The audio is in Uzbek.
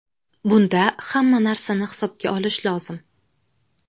Bunda hamma narsani hisobga olish lozim.